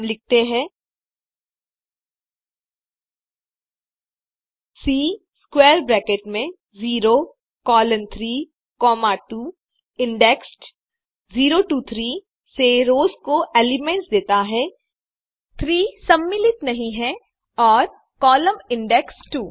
हम लिखते हैं सी स्क्वैर ब्रैकेट में 0 कोलोन 3 कॉमा 2 इंडेक्स्ड 0 टो 3 से रोस के एलिमेंट्स देता है 3 सम्मिलित नहीं है और कोलम्न इंडेक्स्ड 2